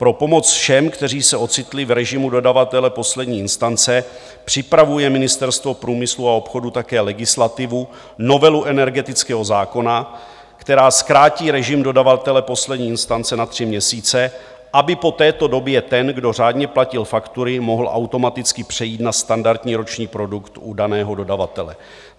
Pro pomoc všem, kteří se ocitli v režimu dodavatele poslední instance, připravuje Ministerstvo průmyslu a obchodu také legislativu, novelu energetického zákona, která zkrátí režim dodavatele poslední instance na tři měsíce, aby po této době ten, kdo řádně platil faktury, mohl automaticky přejít na standardní roční produkt u daného dodavatele.